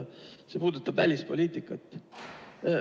See puudutab välispoliitikat.